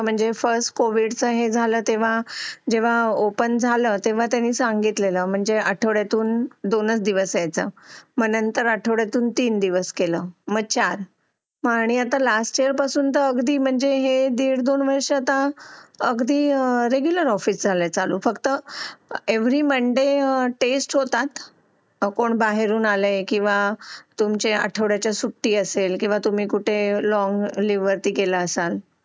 अगदी regular office झालेत चालू फक्त आता एव्हरी मोंडे टेस्ट होतात कोन भाहेरुन आलंय किंवा अठवड्याची सुट्टी असेल किंवा लाँग